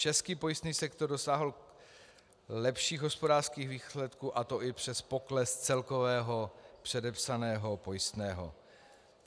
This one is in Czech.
Český pojistný sektor dosáhl lepších hospodářských výsledků, a to i přes pokles celkového předepsaného pojistného.